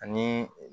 Ani